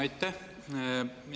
Aitäh!